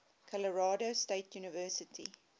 colorado state university